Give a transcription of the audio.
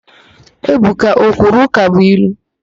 Ebuka o kwuru ụkabụilu?